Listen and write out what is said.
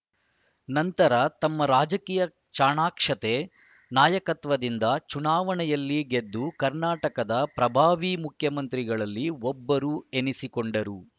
ನಂತರ ತಮ್ಮ ರಾಜಕೀಯ ಚಾಣಾಕ್ಷತೆ ನಾಯಕತ್ವದಿಂದ ಚುನಾವಣೆಯಲ್ಲಿ ಗೆದ್ದು ಕರ್ನಾಟಕದ ಪ್ರಭಾವೀ ಮುಖ್ಯಮಂತ್ರಿಗಳಲ್ಲಿ ಒಬ್ಬರು ಎನಿಸಿಕೊಂಡರು